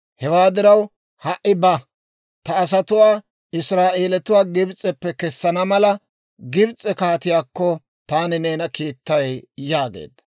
hewaa diraw, ha"i ba; ta asatuwaa, Israa'eelatuwaa Gibs'eppe kessana mala, Gibs'e kaatiyaakko taani neena kiittay» yaageedda.